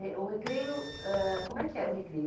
É e o recreio, ãh como é que era o recreio?